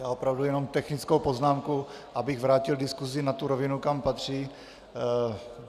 Já opravdu jenom technickou poznámku, abych vrátil diskusi na tu rovinu, kam patří.